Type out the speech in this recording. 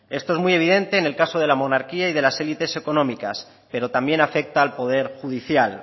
esto es muy evidente en el caso de la monarquía y de las elites económicas pero también afecta al poder judicial